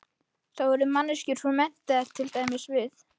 Þá yrðu manneskjurnar svo menntaðar, til dæmis við